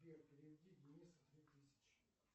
сбер переведи денису две тысячи